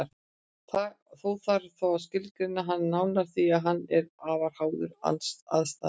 Þó þarf þá að skilgreina hann nánar því að hann er afar háður aðstæðum.